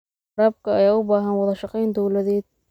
Waraabka ayaa u baahan wada shaqayn dawladeed.